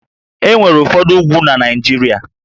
E nwere ụfọdụ úgwú na Naịjirịa